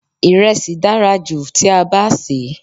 Iresi dára jù tí a bá sè é.